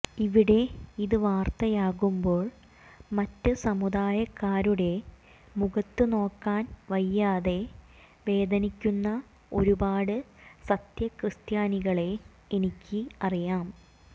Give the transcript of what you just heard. ഇവിടെ ഇത് വലിയ വാർത്തയാകുമ്പോൾ മറ്റ് സമുദായക്കാരുടെ മുഖത്ത് നോക്കാൻ വയ്യാതെ വേദനിക്കുന്ന ഒരുപാട് സത്യക്രിസ്ത്യാനികളെ എനിക്ക് അറിയാം